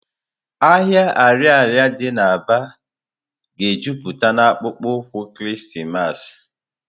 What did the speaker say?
Ahịa Ariaria dị na Aba ga-ejupụta na akpụkpọ ụkwụ Krismas.